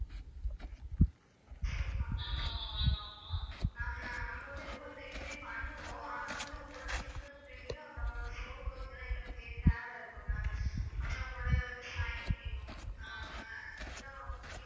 ஆமா Ma'am ஆமா நாங்க வந்து door delivery பண்ணுவோம் ஆனா வந்து உங்களுடைய finger print அப்புறம் உங்களுடைய photo இதெல்லாம் எங்களுக்கு தே~ தேவை இருக்கு ma'am அப்ரோ உங்களோட வந்து sign வேணும் இதுதான் ரொம்ப முக்கியமான